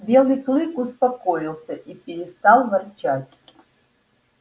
белый клык успокоился и перестал ворчать